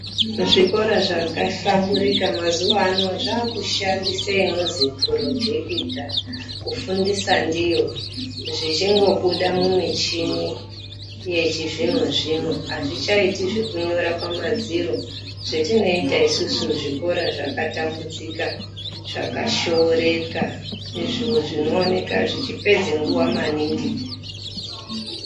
Muzvikora zvakahlamburika mazuwa ano zvaakushandisa inozwi purojekita kufundisa ndiyo zvichindobuda mumichini yechizvinozvino azvichaiti zvekunyora pamadziro zvetinoita isusu zvikora zvakatambudzika zvanoshooreka izvo zvinooneka zvichipedze nguwa maningi.